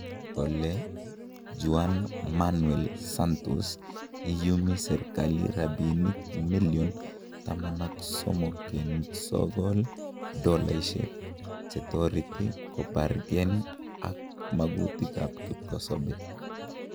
Kole Juan Manuel Santos iyumi Serikali rabinik million $13.9 chetoreti kobargen ak magutikab kipkosobe.